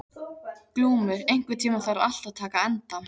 Glúmur, einhvern tímann þarf allt að taka enda.